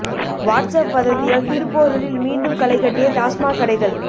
what's up வதந்தியால் திருப்போரூரில் மீண்டும் களை கட்டிய டாஸ்மாக் கடைகள்